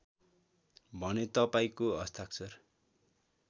भने तपाईँको हस्ताक्षर